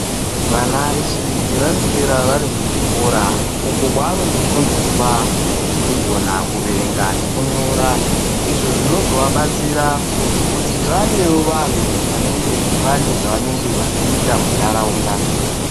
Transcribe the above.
Vana vechidiki vanoswere kuzvikora uko kwavanondofundiswe kukone kuerenga nekunyora. Izvi zvinozovadetsera kuti vavewo vanhtu vanenge vane zvavanenge vachiita muntharaunda.